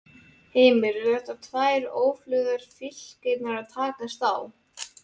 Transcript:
Heimir: Eru þetta tvær öflugar fylkingar að takast á?